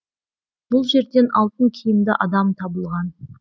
бұл жерден алтын киімді адам табылған